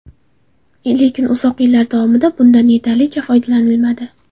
Lekin uzoq yillar davomida bundan yetarlicha foydalanilmadi.